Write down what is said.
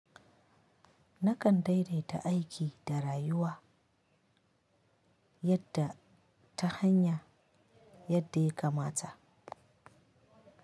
Nakan daidaita aiki da rayuwa yadda ta hanya yadda ya kamata.